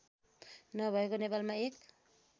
नभएको नेपालमा एक